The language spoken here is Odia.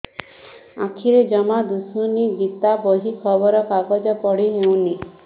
ଆଖିରେ ଜମା ଦୁଶୁନି ଗୀତା ବହି ଖବର କାଗଜ ପଢି ହଉନି